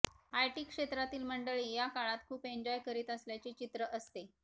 IT क्षेत्रातील मंडळी या काळात खूप एन्जॉय करीत असल्याचे चित्र असते